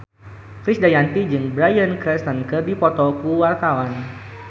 Krisdayanti jeung Bryan Cranston keur dipoto ku wartawan